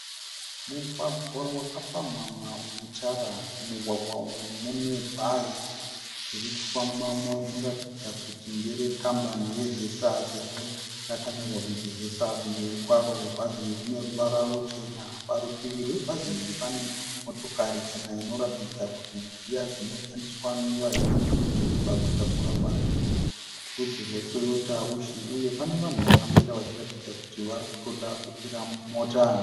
Mugwagwa wakapamhamha une tara. Mumugwagwa umu mune bhazi riri kufambamo rinoratidza kuti ndere kambani yeZesa sezvo rakanyorwa kunzi Zesa kumberi kwaro. Bhazi iri rine ruvara ruchena. Parutivi rwebhazi iri pane motokari chena inoratidza kuti ndedziya dzinoshandiswa nevazhinji mudhorobha kutakura vanhu yerudzi rweToyota Wishi uye pane vanhu vakamira vachiratidza kuti varikutoda kukwira mota.